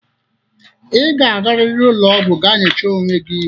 Ị ga-arịrị ụlọgwụ gaa nyochaa onwe gị!